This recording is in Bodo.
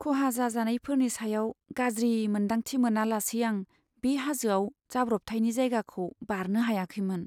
खहा जाजानायफोरनि सायाव गाज्रि मोन्दांथि मोनालासै आं बे हाजोआव जाब्रबथायनि जायगाखौ बारनो हायाखैमोन।